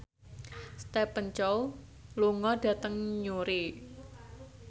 Stephen Chow lunga dhateng Newry